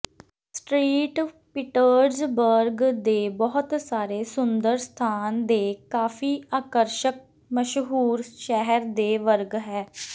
street Petersburg ਦੇ ਬਹੁਤ ਸਾਰੇ ਸੁੰਦਰ ਸਥਾਨ ਦੇ ਕਾਫ਼ੀ ਆਕਰਸ਼ਕ ਮਸ਼ਹੂਰ ਸ਼ਹਿਰ ਦੇ ਵਰਗ ਹੈ